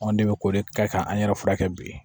Anw de bɛ ko de kɛ k'an yɛrɛ furakɛ bi